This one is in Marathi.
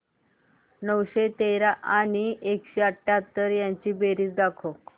नऊशे तेरा आणि एकशे अठयाहत्तर यांची बेरीज दाखव